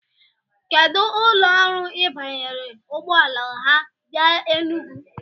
Kedu ụlọ ọrụ Ị banyere ụgbọala ha bịa Enugu?